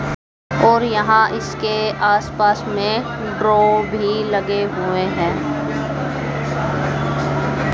और यहां इसके आसपास में भी लगे हुए हैं।